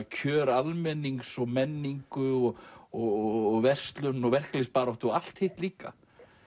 kjör almennings og menningu og og verslun og verkalýðsbaráttu og allt hitt líka